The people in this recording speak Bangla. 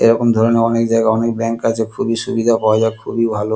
এরকম ধরণের অনেক জায়গায় অনেক ব্যাঙ্ক আছে খুবই সুবিধা পাওয়া যায় খুবই ভালো।